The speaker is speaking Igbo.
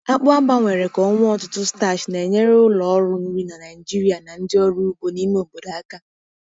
Akpụ a gbanwere ka o nwee ọtụtụ starch na-enyere ụlọ ọrụ nri na Nigeria na ndị ọrụ ugbo n'ime obodo aka.